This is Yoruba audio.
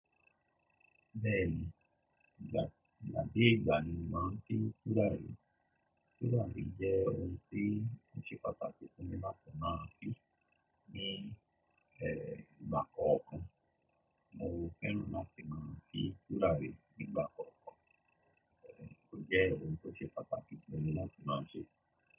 Bẹ́ẹ̀ni, ìgbà, igbà kin ìgbà ni mo màá ń fin turari Turari jẹ́ ohun tí ó ṣe pàtàkì fún mi láti máa fin ní, ẹ́, ìgbà kọ̀ọ̀kan. Mo fẹ́ràn láti máa fin turari rí ní ìgbà kọ̀ọ̀kan. Ẹ̀, ó jẹ́ ohun tó ṣe pàtàkì sí mi láti máa ṣe.